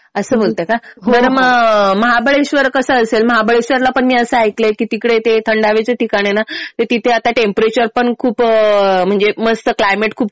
असं बोलते का. बरं मग महाबळेशवर कसं असेल ? महाबळेशवरला पण मी असं ऐकलंय कि तिकडे ते थंड हवेचं ठिकाण आहे ना ते तिथे आता टेम्परेचर पण खूप म्हणजे मस्त क्लायमेट खूप